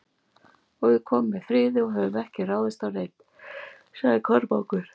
Og við komum með friði og höfum ekki ráðist á neinn, sagði Kormákur.